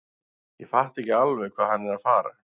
Ég fatta ekki alveg hvað hann er að fara.